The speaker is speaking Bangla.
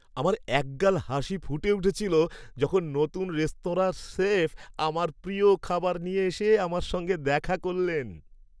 আমার এক গাল হাসি ফুটে উঠেছিল যখন নতুন রেস্তোরাঁর শেফ আমার প্রিয় খাবার নিয়ে এসে আমার সঙ্গে দেখা করলেন।